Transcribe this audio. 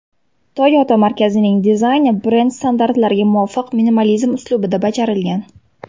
Toyota markazining dizayni brend standartlariga muvofiq minimalizm uslubida bajarilgan.